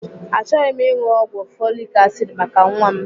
Achọghị m ịṅụ ọgwụ folik asid maka nwa m.